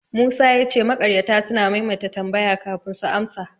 Musa ya ce makaryata suna maimaita tambaya kafin su amsa.